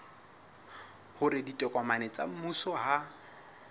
hore ditokomane tsa mmuso ha